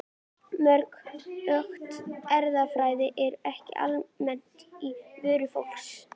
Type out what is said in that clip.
Mörg hugtök erfðafræðinnar eru ekki almennt á vörum fólks.